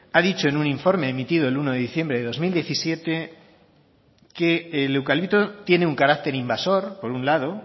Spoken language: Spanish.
ha dicho en un informe emitido el uno de diciembre de dos mil diecisiete que el eucalipto tiene un carácter invasor por un lado